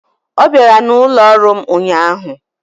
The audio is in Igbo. Ọ bịara n'ụlọ ọrụ m ụnyaahụ.